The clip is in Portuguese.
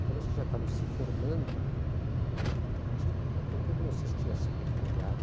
Então, nós que já estávamos se formando, acho que naquele tempo não se tinha secretariado.